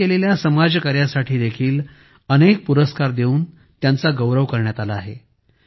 त्यांनी केलेल्या समाज कार्यासाठी देखील अनेक पुरस्कार देऊन त्यांचा गौरव करण्यत आला आहे